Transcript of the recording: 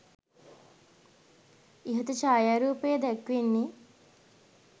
ඉහත ඡායාරූපයේ දැක්වෙන්නේ